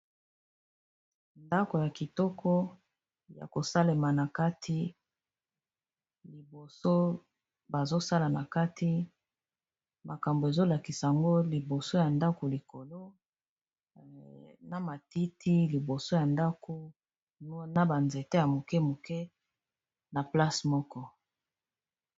Ndako ya kitoko ya kosalema na kati liboso bazosala na kati makambo ezolakisa ango liboso ya ndako likolo na matiti liboso ya ndako na ba nzete ya moke moke na place moko.